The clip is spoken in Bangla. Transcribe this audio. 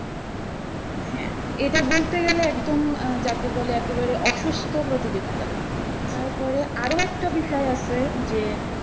হ্যাঁ এটা বলতে গেলে একদম আহ যাকে বলে একেবারে অসুস্থ প্রতিযোগিতা তারপরে আরো একটা বিষয় আছে যে